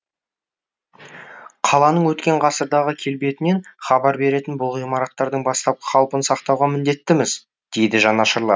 қаланың өткен ғасырдағы келбетінен хабар беретін бұл ғимараттардың бастапқы қалпын сақтауға міндеттіміз дейді жанашырлар